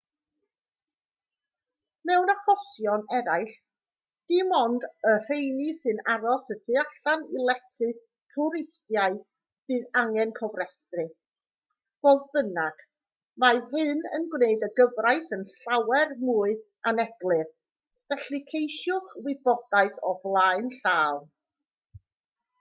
mewn achosion eraill dim ond ar y rheini sy'n aros y tu allan i lety twristaidd bydd angen cofrestru fodd bynnag mae hyn yn gwneud y gyfraith yn llawer mwy aneglur felly ceisiwch wybodaeth o flaen llaw